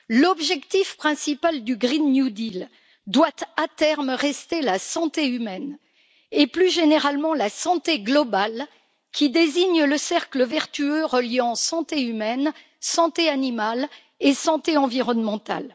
L'objectif principal du Green New Deal doit à terme rester la santé humaine, et plus généralement la santé globale, qui désigne le cercle vertueux reliant santé humaine, santé animale et santé environnementale.